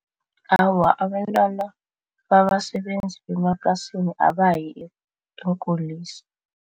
Awa, abentwana babasebenzi bemaplasini abayi eenkulisa.